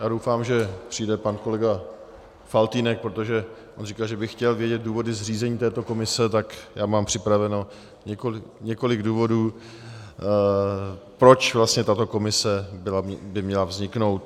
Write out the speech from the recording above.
Já doufám, že přijde pan kolega Faltýnek, protože on říkal, že by chtěl vědět důvody zřízení této komise, tak já mám připraveno několik důvodů, proč vlastně tato komise by měla vzniknout.